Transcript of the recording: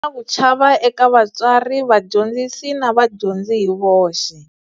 Na ku chava eka vatswari, vadyondzisi na va dyondzi hi voxe.